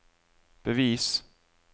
bevis